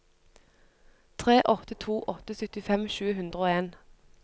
tre åtte to åtte syttifem sju hundre og en